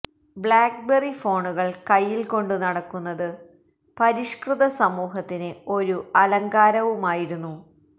blackberry ഫോണുകള് കൈയില് കൊണ്ടു നടക്കുന്നത് പരിഷ്കൃത സമൂഹത്തിന് ഒരു അലങ്കാരവുമായിരുന്നു